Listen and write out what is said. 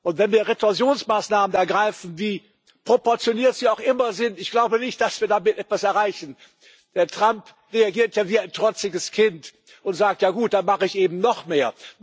Und wenn wir Retorsionsmaßnahmen ergreifen, wie proportioniert sie auch immer sind ich glaube nicht, dass wir damit etwas erreichen. Herr Trump reagiert ja wie ein trotziges Kind und sagt, ja gut, dann mache ich eben noch mehr.